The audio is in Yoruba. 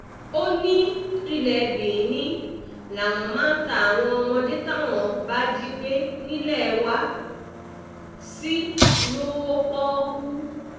ó ní ilé benin làwọn máa ń ta àwọn ọmọdé táwọn bá jí gbé nílé wa sí lọ́wọ́ pọ́ọ́kú